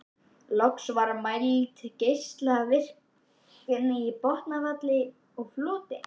Loks var mæld geislavirkni í botnfalli og floti.